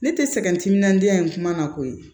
Ne tɛ sɛgɛn n timinandiya n kuma na koyi